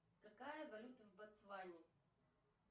какая валюта в ботсване